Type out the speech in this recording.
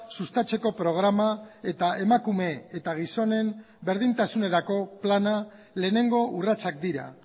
sustatzeko programa eta emakume eta gizonen berdintasunerako plana lehenengo urratsak dira